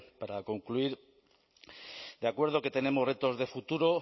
para concluir de acuerdo que tenemos retos de futuro